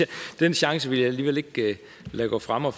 og den chance vil jeg alligevel ikke lade gå fra mig